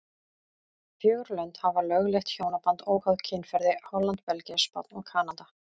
Fjögur lönd hafa lögleitt hjónaband óháð kynferði, Holland, Belgía, Spánn og Kanada.